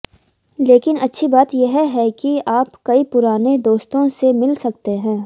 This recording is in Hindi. लेकिन अच्छी बात यह है कि आप कई पुराने दोस्तों से मिल सकते हैं